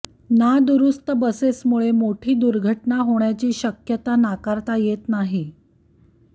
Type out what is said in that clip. नादुरुस्त बसेसमुळे मोठी दुर्घटना होण्याची शक्यता नाकारता येत नाही